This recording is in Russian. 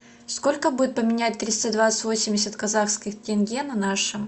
сколько будет поменять триста двадцать восемьдесят казахских тенге на наши